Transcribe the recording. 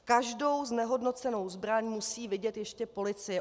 Každou znehodnocenou zbraň musí vidět ještě policie.